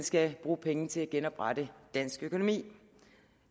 skal bruge penge til at genoprette dansk økonomi